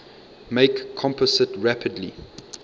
make compost rapidly